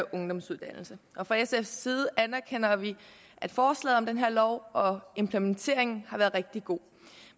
ungdomsuddannelse fra sfs side anerkender vi at forslaget om den her lov og implementeringen af har været rigtig god